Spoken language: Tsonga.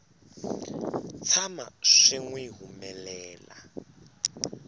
tshama swi n wi humelela